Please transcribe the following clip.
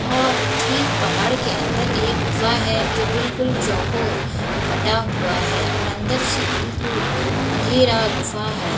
और ठीक पहाड़ के अंदर एक गुफा है जो बिलकुल चौकोर कटा हुआ है और अंदर से बिलकुल अँधेरा गुफा है।